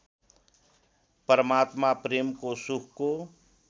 परमात्मा प्रेमको सुखको